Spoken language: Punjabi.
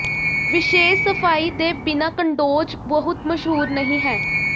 ਵਿਸ਼ੇਸ਼ ਸਫਾਈ ਦੇ ਬਿਨਾਂ ਕੰਡੋਜ਼ ਬਹੁਤ ਮਸ਼ਹੂਰ ਨਹੀਂ ਹਨ